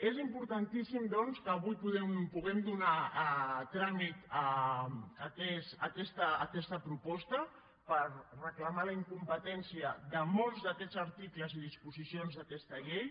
és importantíssim que avui puguem donar tràmit a aquesta proposta per reclamar la incompetència de molts d’aquests articles i disposicions d’aquesta llei